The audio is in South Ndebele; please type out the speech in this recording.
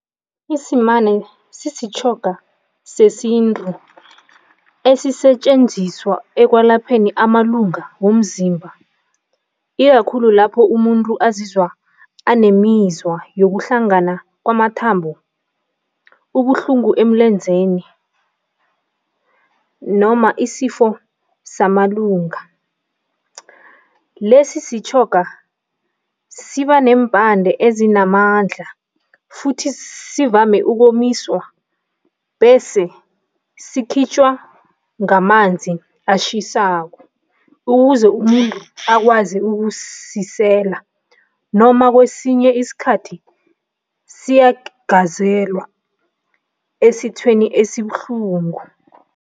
Isimane sisitjhoga sesintu esisetjenziswa ekwelapheni amalunga womzimba ikakhulu lapho umuntu azizwa anemizwa yokuhlangana kwamathambo, ubuhlungu emlenzeni noma isifo samalunga. Lesi sitjhoga siba nempande ezinamandla futhi sivame ukomiswa bese sikhitjhwa ngamanzi ashisako ukuze umuntu akwazi ukusisela noma kwesinye isikhathi siyagazelwa esithweni esibuhlungu.